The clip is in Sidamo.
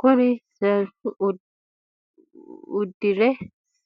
Kuri seenu udire